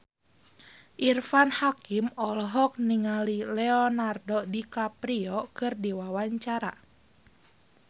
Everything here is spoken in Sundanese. Irfan Hakim olohok ningali Leonardo DiCaprio keur diwawancara